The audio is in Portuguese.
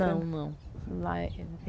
Não, não.